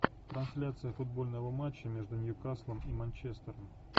трансляция футбольного матча между ньюкаслом и манчестером